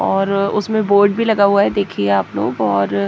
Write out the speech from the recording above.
और उसमें बोर्ड भी लगा हुआ है देखिए आप लोग और--